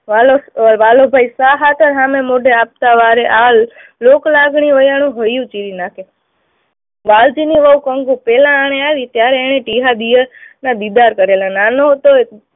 વાલો, વાલો ભાઈ શા હાતર સામે મોઢે આપતા વારે, આ લોકલાગણી વયાણું ગળું ચીરી નાખે. વાલજીની વહુ કંકુ પહેલા આણે આવી ત્યારે એણે ટીહા દિયરના દીદાર કરેલા. નાનો હતો